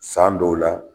San dɔw la